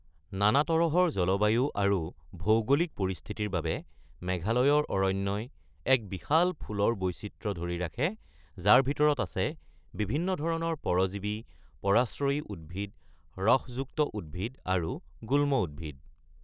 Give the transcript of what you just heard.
নানা তৰহৰ জলবায়ু আৰু ভৌগোলিক পৰিস্থিতিৰ বাবে, মেঘালয়ৰ অৰণ্যই এক বিশাল ফুলৰ বৈচিত্ৰ্য ধৰি ৰাখে, যাৰ ভিতৰত আছে বিভিন্ন ধৰণৰ পৰজীৱী, পৰাশ্ৰয়ী উদ্ভিদ, ৰসযুক্ত উদ্ভিদ আৰু গুল্ম উদ্ভিদ।